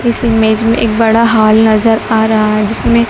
इस इमेज में एक बड़ा हाल नजर आ रहा है जिसमें--